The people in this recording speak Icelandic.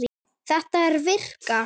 Þetta er að virka.